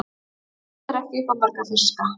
Eitthvað er ekki upp á marga fiska